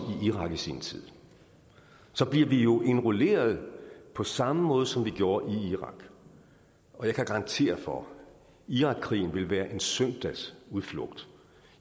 i irak i sin tid så bliver vi jo indrulleret på samme måde som vi gjorde i irak og jeg kan garantere for at irakkrigen vil være en søndagsudflugt